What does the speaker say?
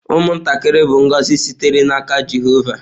Ụmụntakịrị bụ ngọzi sitere n’aka Jehova.